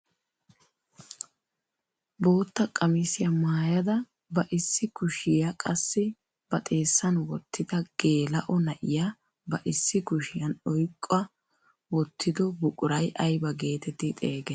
Bootta qamisiyaa maayada ba issi kushiyaa qassi ba xeessan woottida geela'o na'iyaa ba issi kushiyaan oyqqa wottido buquray ayba getetti xeegettii?